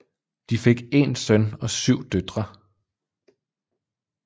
De fik én søn og syv døtre